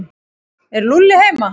Er Lúlli heima?